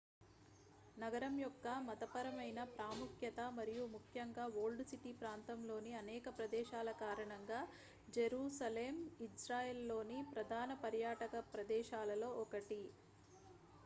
నగరం యొక్క మతపరమైన ప్రాముఖ్యత మరియు ముఖ్యంగా ఓల్డ్ సిటీ ప్రాంతంలోని అనేక ప్రదేశాల కారణంగా జెరూసలేం ఇజ్రాయెల్లోని ప్రధాన పర్యాటక ప్రదేశాలలో ఒకటి